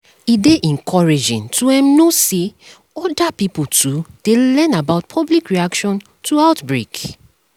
e dey encouraging to um know say other pipo too dey learn about public reaction to outbreak